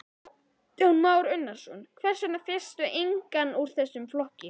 Kristján Már Unnarsson: Hvers vegna fékkstu engan úr þessum flokkum?